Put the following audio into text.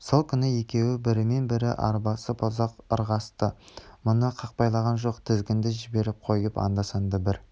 сол күні екеуі бірімен бірі арбасып ұзақ ырғасты мұны қақпайлаған жоқ тізгінді жіберіп қойып анда-санда бір